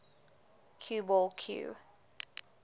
cue ball cue